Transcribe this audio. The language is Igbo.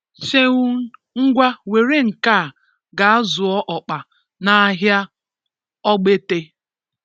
Seun ngwa were nke a ga zụọ ọkpa n'ahia ọgbete